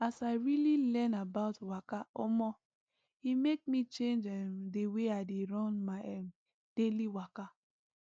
as i really learn about waka omo e make me change um the way i dey run my um daily waka